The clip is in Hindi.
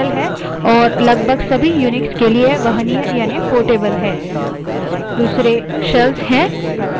तथापि हम इस tutorial में प्रदर्शन के लिए shell के रूप में bash का प्रयोग करेंगे